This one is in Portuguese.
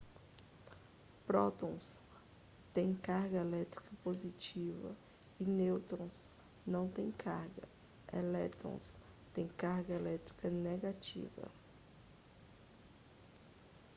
prótons têm carga elétrica positiva e nêutrons não têm carga elétrons têm carga elétrica negativa